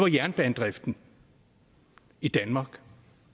jernbanedriften i danmark